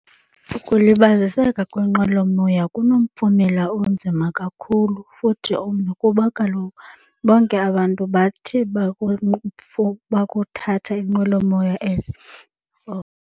Ukulibaziseka kwenqwelomoya kunomphumela onzima kakhulu futhi ombi kuba kaloku bonke abantu bathe bakuthatha inqwelomoya .